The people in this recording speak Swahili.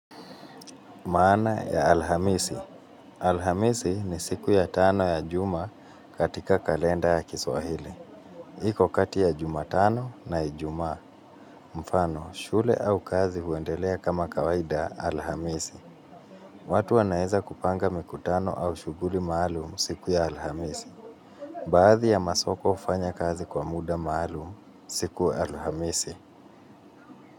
Maana ya alhamisi. Alhamisi ni siku ya tano ya juma katika kalenda ya kiswahili. Iko kati ya jumatano na ijumaa. Mfano, shule au kazi huendelea kama kawaida alhamisi. Watu wanaeza kupanga mikutano au shughuli malu siku ya alhamisi. Baadhi ya masoko hufanya kazi kwa muda maalum siku ya alhamisi.